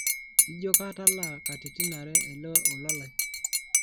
ijio katalaa katitin are ele ola lai